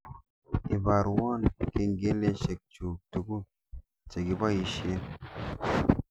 Ibarwon kengeleshek chuuk tugul chegiboishen